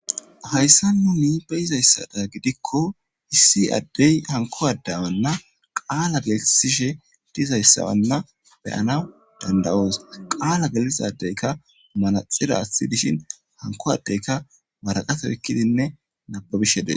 Hayisan ta be'idayisada gidiko issi adey haniko adeya bolla qala kesishe dizayisa nu be'anawu danida'os qala gelisida adyika manaxire athin haniko adeyka wariqate oyikidi hasa'ishe dees